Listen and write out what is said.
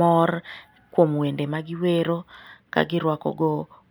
mor kuom wende ma giwero, ka girwakogo